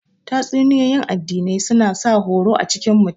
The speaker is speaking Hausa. Tatsuniyoyin addinai suna sa horo a cikin mutum